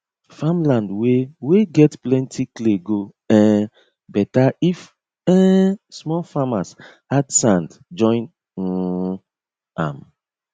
farmland wey wey get plenty clay go um better if um small farmers add sand join um am